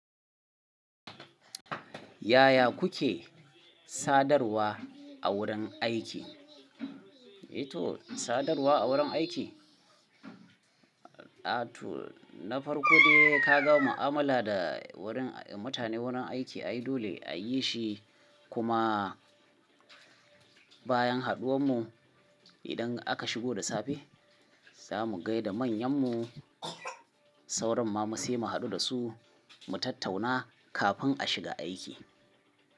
Yaya kuke sadarwa a wurin aiki? Eh to sadarwa a wurin aiki A to na farko dai ka gama amala da wurin mutane wurin aiki ai ayi dole a yi shi kuma bayan haɗuwar mu idan aka shigo da safe za mu gaida manyan mu sauran mamu sai mu haɗu da su mu tattauna kafin a shiga aiki.